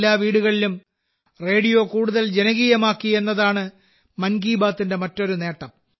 എല്ലാ വീടുകളിലും റേഡിയോ കൂടുതൽ ജനകീയമാക്കി എന്നതാണ് മൻ കി ബാത്തിന്റെ മറ്റൊരു നേട്ടം